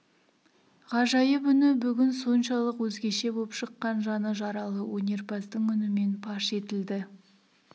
ғажайып үні бүгін соншалық өзгеше боп шыққан жаны жаралы өнерпаздың үнімен паш етілді